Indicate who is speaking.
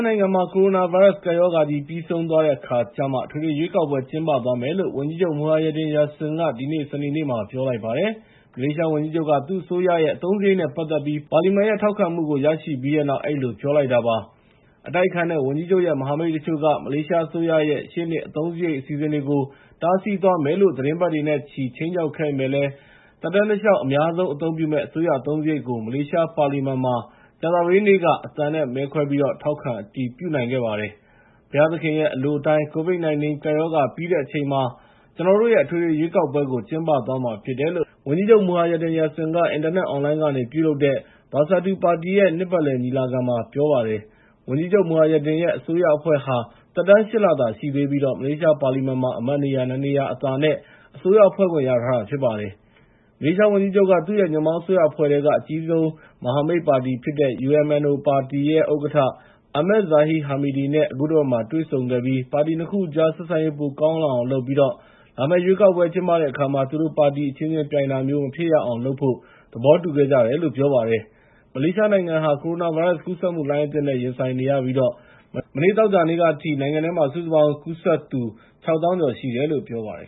Speaker 1: နိုင်ငံမှာ ကိုရိုနာဗိုင်းရပ်စ် ကပ်ရောဂါကြီး ပြီးဆုံးသွားတဲ့အခါကျမှ အထွေထွေရွေးကောက်ပွဲ ကျင်းပသွားမယ်လို့ ဝန်ကြီးချုပ် Muhyiddin Yassin က ဒီနေ့ စနေနေ့မှာ ပြောလိုက်ပါတယ်။ မလေးရှားဝန်ကြီးချုပ်က သူ့အစိုးရရဲ့ အသုံးစရိတ်နဲ့ ပတ်သက်ပြီး ပါလီမန်ရဲ့ ထောက်ခံမှုကို ရရှိပြီးတဲ့နောက် အဲဒီလိုပြောလိုက်တာ ဖြစ်ပါတယ်။ အတိုက်အခံတွေနဲ့ ဝန်ကြီးချုပ်ရဲ့ မဟာမိတ်တချို့က မလေးရှားအစိုးရရဲ့ ရှေ့နှစ်အသုံးစရိတ် အစီအစဉ်တွေကို တားဆီးသွားမယ်လို့ သီတင်းပတ်နဲ့ချီ ခြိမ်းခြောက်ခဲ့ပေမယ့်လည်း သက်တမ်းတလျှောက် အများဆုံးအသုံးပြုမယ့် အစိုးရအသုံးစရိတ်ကို မလေးရှားပါလီမန်မှာ ကြာသပတေးနေ့က အသံနဲ့မဲခွဲပြီး ထောက်ခံအတည်ပြုနိုင်ခဲ့ပါတယ်။ “ဘုရားသခင်ရဲ့ အလိုအတိုင်း COVID-19 ကပ်ရောဂါ ပြီးတဲ့အချိန်မှာ ကျနော်တို့ရဲ့ အထွေထွေရွေးကောက်ပွဲကို ကျင်းပသွားမှာဖြစ်တယ်” လို့ ဝန်ကြီးချုပ် Muhyiddin က အင်တာနက်အွန်လိုင်းကနေ ပြုလုပ်တဲ့ Bersatu ပါတီရဲ့ နှစ်ပတ်လည်ညီလာခံမှာ ပြောကြားလိုက်ပါတယ်။ ဝန်ကြီးချုပ် Muhyiddin ရဲ့ အစိုးရအဖွဲ့ဟာ သက်တမ်း ၈ လသာရှိသေးပြီး မလေးရှားပါလီမန်မှာလည်း အမတ်နေရာ ၂ နေရာအသာနဲ့ အစိုးရဖွဲ့ခွင့်ရထားတာ ဖြစ်ပါတယ်။ မလေးရှားဝန်ကြီးချုပ်က သူ့ရဲ့ ညွန့်ပေါင်းအစိုးရအဖွဲ့ထဲက အကြီးဆုံး မဟာမိတ်ပါတီဖြစ်တဲ့ UMNO ပါတီဥက္ကဋ္ဌ Ahmad Zahid Hamidi နဲ့ အခုတပတ်မှာ တွေ့ဆုံခဲ့ပြီး ပါတီ ၂ ခုကြား ဆက်ဆံရေး ပိုကောင်းလာအောင်လုပ်ပြီး လာမယ့်ရွေးကောက်ပွဲ ကျင်းပတဲ့အခါမှာ သူတို့ပါတီအချင်းချင်းပြိုင်တာ မဖြစ်ရအောင်လုပ်ဖို့ သဘောတူခဲ့ကြတယ်လို့ ပြောပါတယ်။ မလေးရှားနိုင်ငံဟာ ကိုရိုနာဗိုင်းရပ်စ်ကူးစက်မှု လှိုင်းအသစ်နဲ့ ရင်ဆိုင်နေရပြီး မနေ့ သောကြာနေ့ကအထိ နိုင်ငံထဲမှာ စုစုပေါင်းကူးစက်သူ ၆၀,၀၀၀ ကျော်ရှိတယ်လို့ ပြောပါတယ်